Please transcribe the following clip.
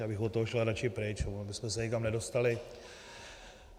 Já bych od toho šel raději pryč, ono bychom s nikam nedostali.